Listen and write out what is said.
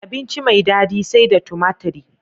Abinci mai dadi sai da tumatri